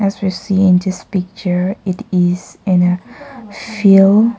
As we see in this picture it is a field.